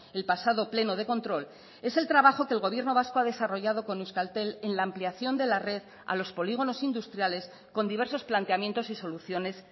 el pasado pleno de control es el trabajo que el gobierno vasco ha desarrollado con euskaltel en la ampliación de la red a los polígonos industriales con diversos planteamientos y soluciones